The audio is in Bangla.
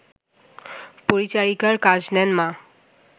পরিচারিকার কাজ নেন মা